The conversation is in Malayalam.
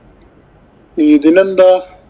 ഇതിനെന്താ.